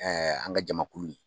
Ɛɛ an ka jamakulu